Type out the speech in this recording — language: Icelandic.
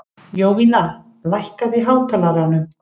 Jovina, lækkaðu í hátalaranum.